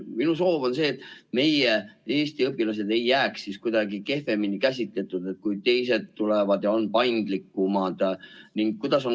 Minu soov on, et Eesti õpilased ei jääks kuidagi kehvemasse olukorda, kui ollakse teistes riikides, kus on kord ehk paindlikum.